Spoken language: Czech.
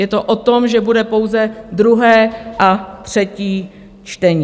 Je to o tom, že bude pouze druhé a třetí čtení.